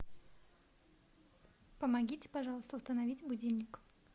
помогите пожалуйста установить будильник